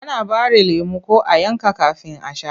Ana ɓare lemo ko a yanka kafin a sha.